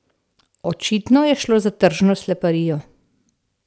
Očitno je šlo za tržno sleparijo.